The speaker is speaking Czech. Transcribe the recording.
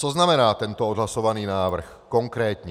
Co znamená tento odhlasovaný návrh konkrétně?